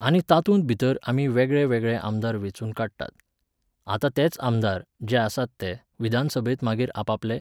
आनी तातूंत भितर आमी वेगळे वेगळे आमदार वेंचून काडटात. आतां तेच आमदार, जे आसात ते, विधानसभेंत मागीर आपआपलें